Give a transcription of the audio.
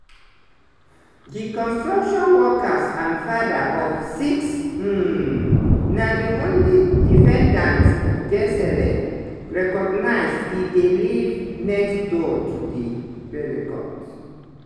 di construction workers and father-of-six um na di only defendant gisele recognised e dey live next door to di pelicots.